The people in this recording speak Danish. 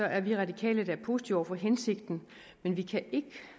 er vi radikale da positive over for hensigten men vi kan ikke